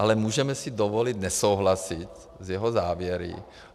Ale můžeme si dovolit nesouhlasit s jeho závěry.